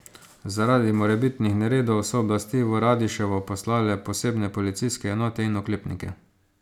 Zaradi morebitnih neredov so oblasti v Radiševo poslale posebne policijske enote in oklepnike.